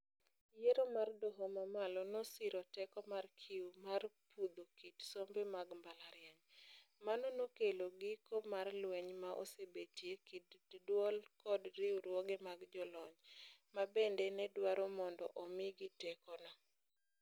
Yiero mar doho mamalo nosiro teko mar CUE mar pudho kit sombe mag mbalariany. Mano nokelo giko mar lweny ma osebetie kind duol kod riwruoge mag jolony, mabende nedwaro mondo omi gi teko no.